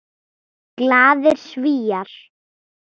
Glaðir Svíar.